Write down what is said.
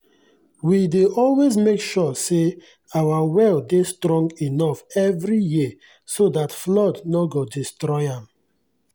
we dey always make sure say our well dey strong enough every year so dat flood nor go destroy am.